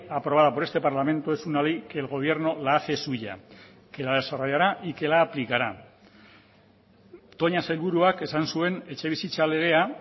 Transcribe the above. aprobada por este parlamento es una ley que el gobierno la hace suya que la desarrollará y que la aplicará toña sailburuak esan zuen etxebizitza legea